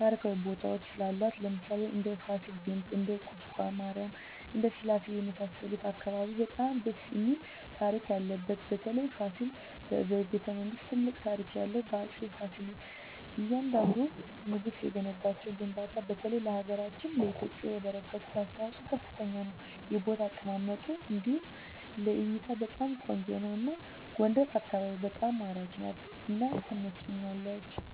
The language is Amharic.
ታሪካዊ ቦታወች ስላሏት ለምሣሌ እንደ ፍሲል ግቢ እንደ ቁስቋም ማሪያም እንደ ስላሴ የመሣሠሉት አካባቢ በጣም ደስ እሚል ታሪክ ያለበት በተለይ ፋሲል በተ መንግስት ትልቅ ታሪክ ያለው በአፄ ፍሲል እያንደንዱ ንጉስ የገነቧቸው ግንባታ በተለይ ለሀገራችን ለኢትዮጵያ ያበረከቱት አስተዋፅኦ ከፍተኛ ነው የቦታ አቀማመጡ እንዲሁ ለእይታ በጣም ቆንጆ ነው አና ጎንደር አካቢዋ በጣም ማራኪ ናት እና ትመቸኛለች